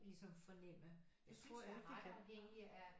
Ligesom fornemme jeg synes jeg er ret afhængig af